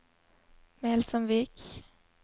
Melsomvik